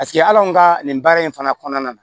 Paseke hal'anw ka nin baara in fana kɔnɔna na